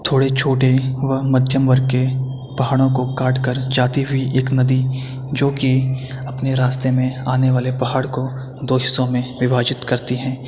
थोड़ी छोटी व मध्यम वर्ग के पहाड़ों को काट कर जाती हुई एक नदी जो की अपने रास्ते में आने वाले पहाड़ को दो हिस्सों में विभाजित करती हैं।